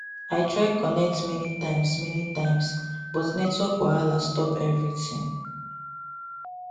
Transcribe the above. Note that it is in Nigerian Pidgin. i try connect many times many times but network wahala stop everything